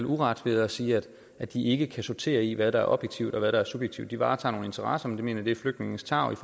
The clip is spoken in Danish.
uret ved at sige at de ikke kan sortere i hvad der er objektivt og hvad der er subjektivt de varetager nogle interesser men jeg mener at det er flygtningenes tarv i